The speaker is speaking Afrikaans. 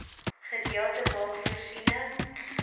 gedeelte maak voorsiening